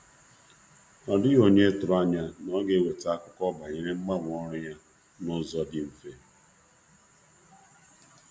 Ọ dịghị onye tụrụ anya na ọ ga-eweta akụkọ banyere mgbanwe ọrụ ya n'ụzọ di mfe